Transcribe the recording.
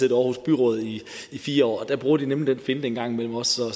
i aarhus byråd i fire år og der bruger de nemlig den finte en gang imellem også så